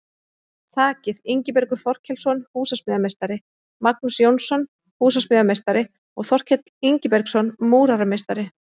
Þakið: Ingibergur Þorkelsson, húsasmíðameistari, Magnús Jónsson, húsasmíðameistari og Þorkell Ingibergsson, múrarameistari.